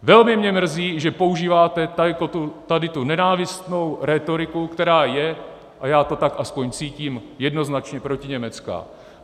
Velmi mě mrzí, že používáte tady tu nenávistnou rétoriku, která je - a já to tak aspoň cítím - jednoznačně protiněmecká.